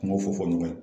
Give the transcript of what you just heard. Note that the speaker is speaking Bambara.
Kumaw fɔ fɔ ɲɔgɔn ye